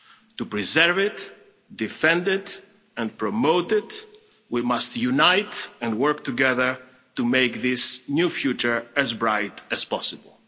To preserve it, defend it and promote it, we must unite and work together to make this new future as bright as possible.